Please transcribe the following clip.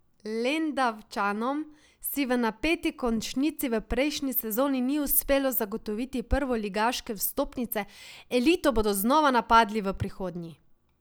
Lendavčanom si v napeti končnici v prejšnji sezoni ni uspelo zagotoviti prvoligaške vstopnice, elito bodo znova napadli v prihodnji.